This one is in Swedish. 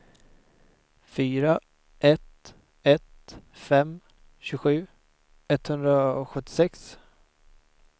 fyra ett ett fem tjugosju etthundrasjuttiosex